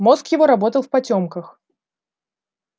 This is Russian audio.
мозг его работал в потёмках